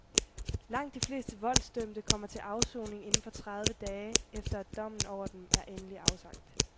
Langt de fleste voldsdømte kommer til afsoning inden for tredive dage, efter at dommen over dem er endeligt afsagt.